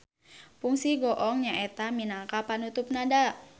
Pungsi goong nyaeta minangka panutup nada.